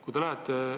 Kui te lähete ...